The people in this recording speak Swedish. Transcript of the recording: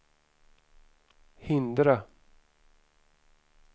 hindra